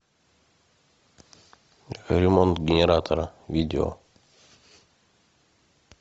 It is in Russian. ремонт генератора видео